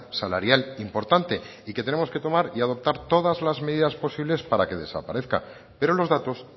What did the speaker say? salarial importante y que tenemos que tomar y adoptar todas las medidas posibles para que desaparezca pero los datos